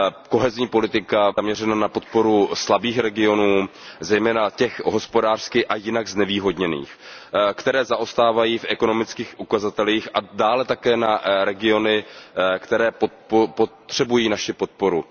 Kohezní politika by měla být zaměřena na podporu slabých regionů, zejména těch hospodářsky a jinak znevýhodněných, které zaostávají v ekonomických ukazatelích, a dále také na regiony, které potřebují naši podporu.